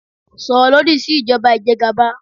Sọ̀rọ̀ lòdì sí ìjọba ìjẹgàba